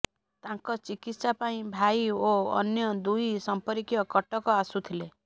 ତାଙ୍କ ଚିକିତ୍ସା ପାଇଁ ଭାଇ ଓ ଅନ୍ୟ ଦୁଇ ସମ୍ପର୍କୀୟ କଟକ ଆସୁଥିଲେ